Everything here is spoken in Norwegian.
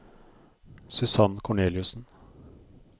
Susann Corneliussen